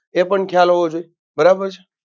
એ પણ ખ્યાલ હોવો જોઈએ. બરાબર છે.